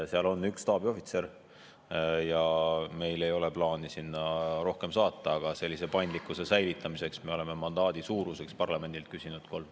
Seal on üks staabiohvitser ja meil ei ole plaani sinna rohkem saata, aga paindlikkuse säilitamiseks me oleme mandaadi suuruseks parlamendilt küsinud kolme.